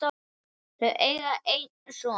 Þau eiga einn son.